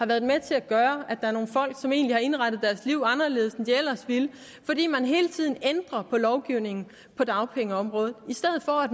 været med til at gøre at der er nogle folk som egentlig har indrettet deres liv anderledes end de ellers ville fordi man hele tiden ændrer på lovgivningen på dagpengeområdet i stedet for at